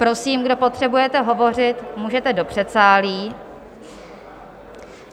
Prosím, kdo potřebujete hovořit, můžete do předsálí.